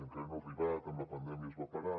encara no ha arribat amb la pandèmia es va parar